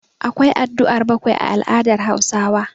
Akwa addu'ar bakwai a al'adar Hausawa.